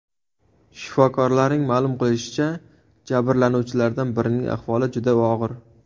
Shifokorlarning ma’lum qilishicha, jabrlanuvchilardan birining ahvoli juda og‘ir.